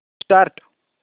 start